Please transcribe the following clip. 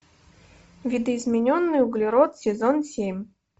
видоизмененный углерод сезон семь